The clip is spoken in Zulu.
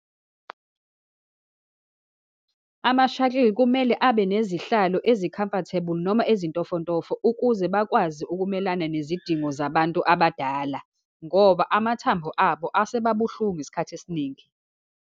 Ama-shuttle kumele abe nezihlalo ezi-comfortable, noma ezintofontofo ukuze bakwazi ukumelana nezidingo zabantu abadala, ngoba amathambo abo asebabuhlungu isikhathi esiningi.